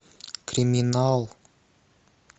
криминал